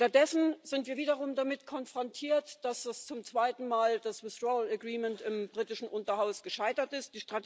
Stattdessen sind wir wiederum damit konfrontiert, dass zum zweiten Mal das withdrawal agreement im britischen Unterhaus gescheitert ist.